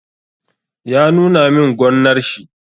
Ya nuna min gonnar shi.